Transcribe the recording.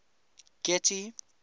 getty